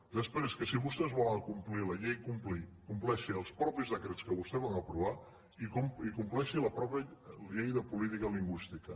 després que si vostès volen complir la llei compleixin els mateixos decrets que vostès van aprovar i complei·xin la mateixa llei de política lingüística